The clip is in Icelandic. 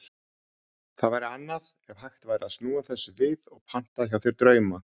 Það væri annað ef hægt væri að snúa þessu við og panta hjá þér drauma.